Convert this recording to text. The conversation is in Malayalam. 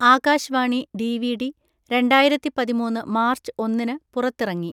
ആകാശ് വാണി ഡിവിഡി രണ്ടായിരത്തി പതിമൂന്ന് മാർച്ച് ഒന്നിന് പുറത്തിറങ്ങി.